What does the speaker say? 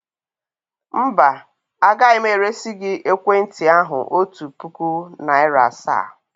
Mba, agaghị m eresi gị ekwentị ahụ otu puku naịra asaa.